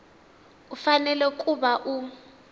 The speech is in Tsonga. u fanele ku va u